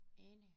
Enig